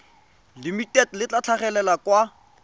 limited le tla tlhagelela kwa